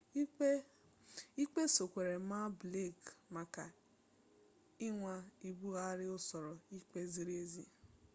ikpe sokwere maa blake maka ịnwa ibugharị usoro ikpe ziri ezi